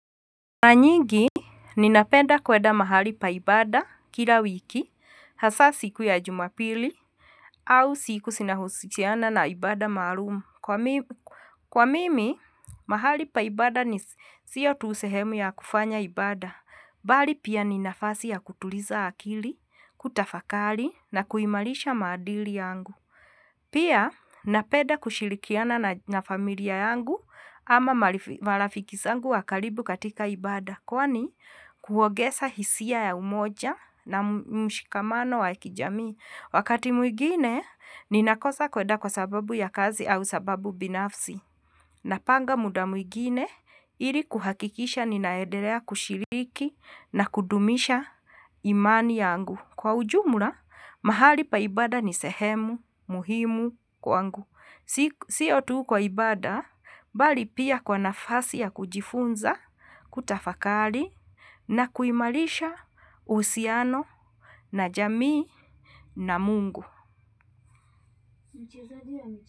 Mara nyingi, ninapenda kuenda mahali pa ibada kila wiki, hasa siku ya jumapili, au siku zinahusiana na ibada maalumu. Kwa mimi, mahali pa ibada ni sio tu sehemu ya kufanya ibada, bali pia ni nafasi ya kutuliza akili, kutafakali, na kuimarisha maadili yangu. Pia napenda kushirikiana na familia yangu ama marafiki zangu wa karibu katika ibada kwani kuongeza hisia ya umoja na mshikamano wa kijamii. Wakati mwigine ninakosa kuenda kwa sababu ya kazi au sababu binafsi. Napanga muda mwingine ili kuhakikisha ninaendelea kushiriki na kudumisha imani yangu. Kwa ujumla, mahali pa ibada ni sehemu, muhimu kwangu. Sio tu kwa ibada, bali pia kwa nafasi ya kujifunza, kutafakari, na kuimarisha uhusiano na jamii na mungu.